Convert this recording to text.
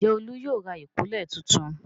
Ǹjẹ́ Olú yóò ra ìkọ́lẹ̀ tuntun?